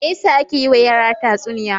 Me ya sa ake yiwa yara tatsuniya?